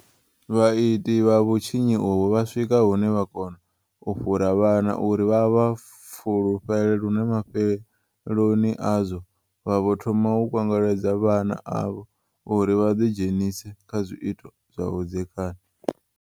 Vhaiti vha vhutshinyi uvhu vha swika hune vha kona u fhura vhana uri vha vha fulufhele lune mafheloni azwo vha vho thoma u kwengweledza vhana avho uri vha ḓidzhenise kha zwiito zwa vhudzekani.